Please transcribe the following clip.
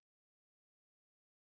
Ég er miður mín.